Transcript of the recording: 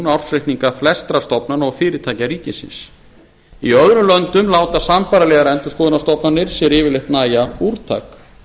ársreikninga flestra stofnana og fyrirtækja ríkisins í öðrum löndum láta sambærilegar endurskoðunarstofnanir sér yfirleitt nægja úrtak